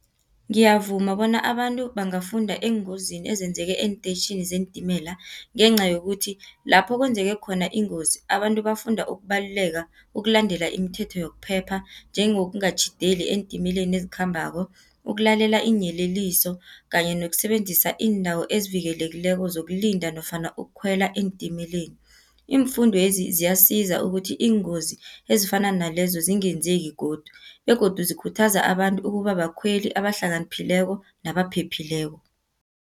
Ngiyavuma bona abantu bangafunda eengozini ezenzeke eentetjhini zeentimela, ngencayokuthi lapho kwenzeke khona ingozi, abantu bafunda ukubaluleka, ukulandela imithetho yokuphepha, njengokungatjhideli eentimeleni ezikhambako. Ukulalela iinyeleliso, kanye nokusebenzisa iindawo ezivikelekileko zokulinda, nofana ukukhwela eentimeleni. Iimfundwezi ziyasiza ukuthi iingozi ezifana nalezo zingenzeki godu, begodu zikhuthaza abantu ekubabakhweli abahlakaniphileko nabaphephileko.